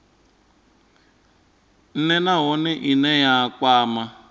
nha nahone ine ya kwama